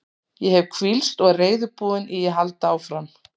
Ég hef hvílst og er reiðubúinn í að halda áfram.